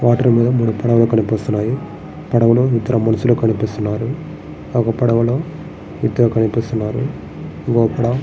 Water కనిపిస్తున్నాయి. పడవలు ఇద్దరు మనుసులు కనిపిస్తున్నారు. ఒక పడవుల్లో ఇద్దరు కనిపిస్తున్నారు. అక్కడ--